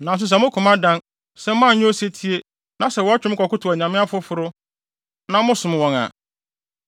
Nanso sɛ mo koma dan, sɛ moanyɛ osetie, na sɛ wɔtwe mo kɔkotow anyame afoforo, na mosom wɔn a,